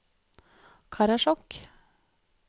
Karasjok